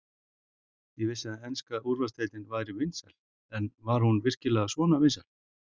Ég vissi að enska úrvalsdeildin væri vinsæl en var hún virkilega svona vinsæl?